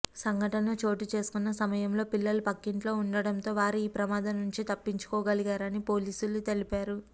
సంఘటన చోటు చేసుకున్న సమయంలో పిల్లలు పక్కింట్లో ఉండటంతో వారు ఈ ప్రమాదం నుంచి తప్పించుకోగలిగారని పోలీసులు తెలిపారు